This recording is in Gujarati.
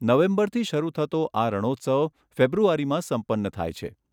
નવેમ્બરથી શરૂ થતો આ રણોત્સવ ફેબ્રુઆરીમાં સંપન્ન થાય છે.